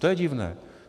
To je divné.